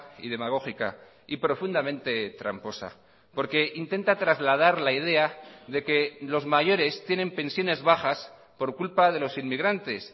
y demagógica y profundamente tramposa porque intenta trasladar la idea de que los mayores tienen pensiones bajas por culpa de los inmigrantes